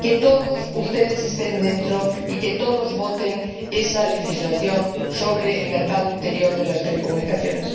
espero que todos ustedes estén dentro y que todos voten esa legislación sobre el mercado interior de las telecomunicaciones.